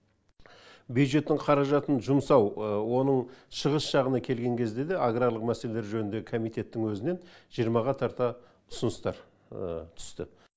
бюджеттің қаражатын жұмсау оның шығыс жағына келген кезде де аграрлық мәселелер жөніндегі комитеттің өзінен жиырмаға тарта ұсыныстар түсті